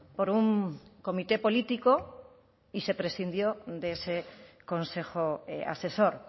por un comité político y se prescindió de ese consejo asesor